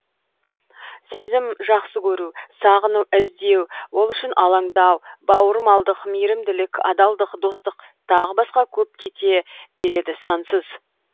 сезім жақсы көру сағыну іздеу ол үшін алаңдау бауырмалдық мейірімділік адалдық достық тағы басқа көп кете береді сансыз